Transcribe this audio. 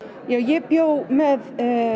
ég bjó með